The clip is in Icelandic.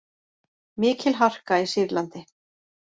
Mikil harka í Sýrlandi